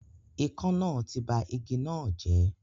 Ikán náà ti ba igi náà jẹ́